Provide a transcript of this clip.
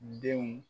Denw